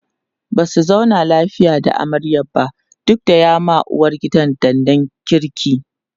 Basu zauna lafiya da amaryar ba duk da ya ma uwargidan danna kirki